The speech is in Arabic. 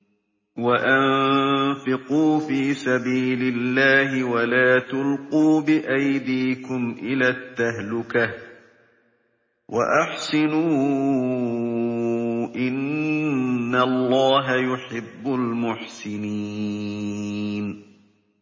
وَأَنفِقُوا فِي سَبِيلِ اللَّهِ وَلَا تُلْقُوا بِأَيْدِيكُمْ إِلَى التَّهْلُكَةِ ۛ وَأَحْسِنُوا ۛ إِنَّ اللَّهَ يُحِبُّ الْمُحْسِنِينَ